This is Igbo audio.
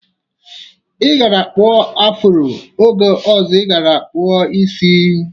Ị gaara akpụ afuro oge ọzọ ị ga-akkpụ isi.